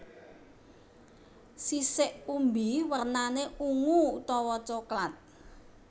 Sisik umbi wernané ungu utawa coklat